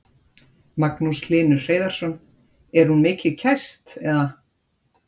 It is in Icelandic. Magnús Hlynur Hreiðarsson: Er hún mikið kæst eða?